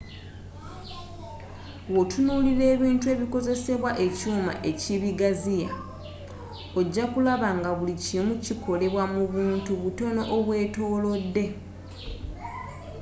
wotunulira ebintu ng'okozzesa ekyuma ekibigaziya ojja kulaba nga buli kimu kikolebwa mu buntu butono obwetolodde